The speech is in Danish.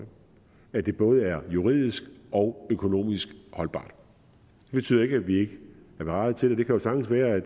at det både er juridisk og økonomisk holdbart det betyder ikke at vi ikke er parate til det det kan jo sagtens være at